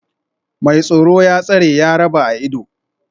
Mai tsoro, ya tsare, ya raba a ido